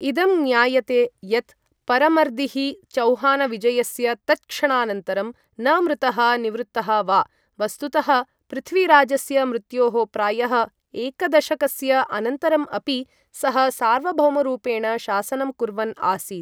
इदं ज्ञायते यत् परमर्दिः चौहानविजयस्य तत्क्षणानन्तरं न मृतः निवृत्तः वा, वस्तुतः, पृथ्वीराजस्य मृत्योः प्रायः एकदशकस्य अनन्तरम् अपि सः सार्वभौमरूपेण शासनं कुर्वन् आसीत्।